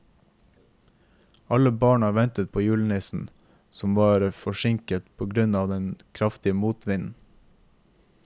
Alle barna ventet på julenissen, som var forsinket på grunn av den kraftige motvinden.